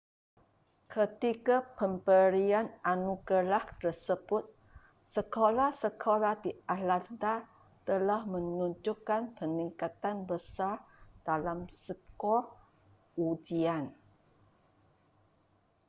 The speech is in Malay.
ketika pemberian anugerah tersebut sekolah-sekolah di atlanta telah menunjukkan peningkatan besar dalam skor ujian